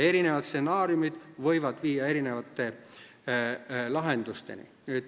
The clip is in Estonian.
Erinevad stsenaariumid võivad viia erinevate lahendusteni.